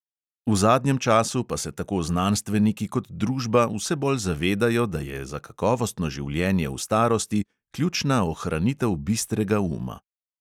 V zadnjem času pa se tako znanstveniki kot družba vse bolj zavedajo, da je za kakovostno življenje v starosti ključna ohranitev bistrega uma.